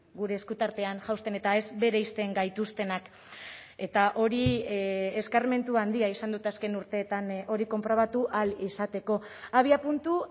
gure esku tartean jausten eta ez bereizten gaituztenak eta hori eskarmentu handia izan dut azken urteetan hori konprobatu ahal izateko abiapuntu